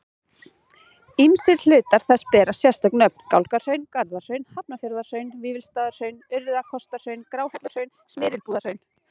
Ýmsir hlutar þess bera sérstök nöfn, Gálgahraun, Garðahraun, Hafnarfjarðarhraun, Vífilsstaðahraun, Urriðakotshraun, Gráhelluhraun, Smyrlabúðarhraun.